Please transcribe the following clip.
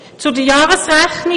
Zur Jahresrechnung.